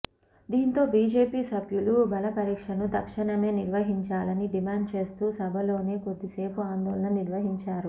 దీంతో బిజెపి సభ్యులు బలపరీక్షను తక్షణమే నిర్వహించాలని డిమాండ్ చేస్తూ సభలోనే కొద్దిసేపు ఆందోళన నిర్వహించారు